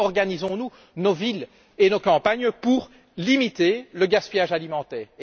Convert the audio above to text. Comment organisons nous nos villes et nos campagnes pour limiter le gaspillage alimentaire?